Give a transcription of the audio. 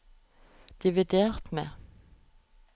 dividert med